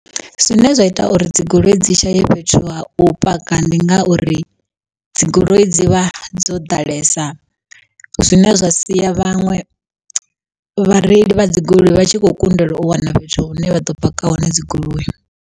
Zwine zwa ita uri dzigoloi dzi shaye fhethu ha u paka, ndi nga uri dzigoloi dzi vha dzo ḓalesa zwine zwa sia vhaṅwe vhareili vha dzi goloi vha tshi kho kundelwa u wana fhethu hune vha ḓo paka hone dzigoloi.